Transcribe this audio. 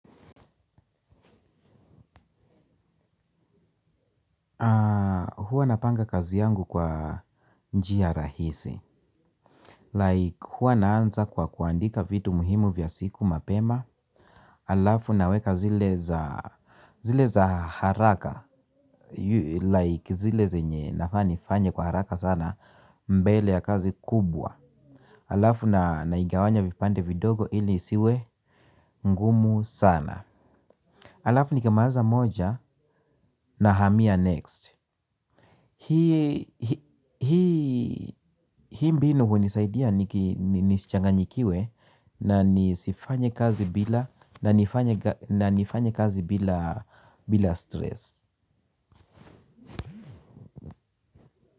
Huwa napanga kazi yangu kwa njia rahisi Like huwa naanza kwa kuandika vitu muhimu vya siku mapema. Alafu naweka zile za haraka Like zile zenye nafaa nifanye kwa haraka sana mbele ya kazi kubwa. Alafu na naigawanya vipande vidogo ili isiwe ngumu sana. Alafu nikimaliza moja nahamia next. Hii mbinu hunisaidia ni nisichanganyikiwe na nifanye kazi bila stress.